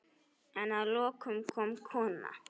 En að lokum kom kona.